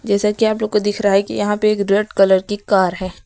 जैसा कि आप लोग को दिख रहा है कि यहाँ पे एक रेड कलर की कार है।